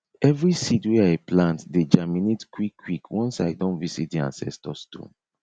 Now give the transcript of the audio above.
every seed wey i plant dey germinate quick quick once i don visit di ancestor stone